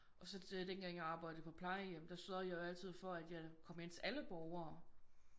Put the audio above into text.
Og så dengang jeg arbejde på plejehjem der sørgede jeg jo altid for at jeg kom ind til alle borgere